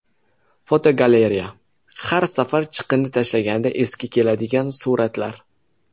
Fotogalereya: Har safar chiqindi tashlanganda esga keladigan suratlar.